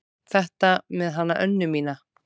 Þetta með hana Önnu mína.